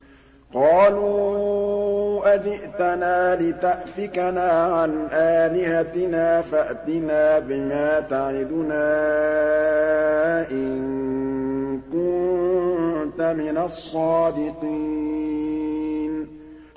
قَالُوا أَجِئْتَنَا لِتَأْفِكَنَا عَنْ آلِهَتِنَا فَأْتِنَا بِمَا تَعِدُنَا إِن كُنتَ مِنَ الصَّادِقِينَ